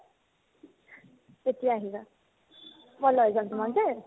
তেতিয়া আহিবা ভালে হ'ব তোমাৰ দে